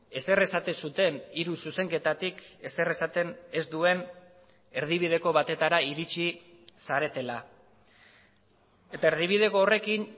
ezer esaten zuten hiru zuzenketatik ezer esaten ez duen erdibideko batetara iritsi zaretela eta erdibideko horrekin